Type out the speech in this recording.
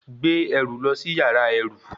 Gbé ẹrù lọ sí yàrá ẹrú!